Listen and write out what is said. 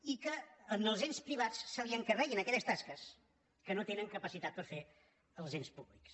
i que als ens privats se’ls encarreguin aquelles tasques que no tenen capacitat per fer els ens públics